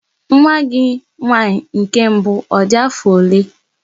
Nwa gị nwaanyị nke mbụ ọ dị afọ ole?